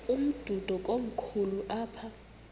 umdudo komkhulu apha